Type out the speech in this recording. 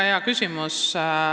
Väga hea küsimus.